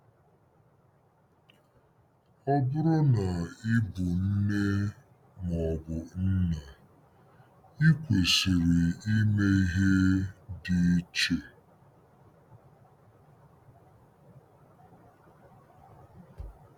Ọ bụrụ na ị bụ nne ma ọ bụ nna, i kwesịrị ime ihe dị iche.